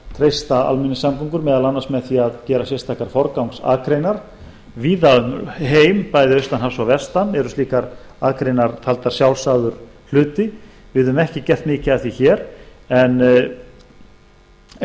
reyna að treysta almenningssamgöngur með því að gera sérstakar forgangsakreinar víða um heim bæði austan hafs og vestan eru slíkar akreinar taldar sjálfsagður hlutur við höfum ekki gert mikið af því hér en ef á